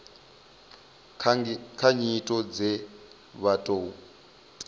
kha nyito dze vha tou